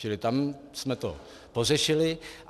Čili tam jsme to pořešili.